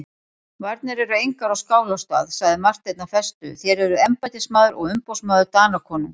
Varnir eru engar á Skálholtsstað, sagði Marteinn af festu,-þér eruð embættismaður og umboðsmaður Danakonungs.